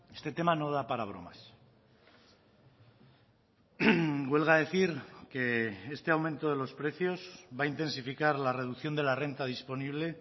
este tema no da para bromas huelga decir que este aumento de los precios va a intensificar la reducción de la renta disponible